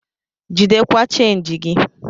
Jidekwa chenji gi!